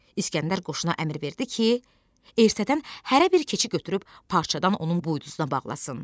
İsgəndər qoşuna əmr verdi ki, ertədən hərə bir keçi götürüb parçadan onun buynuzuna bağlasın.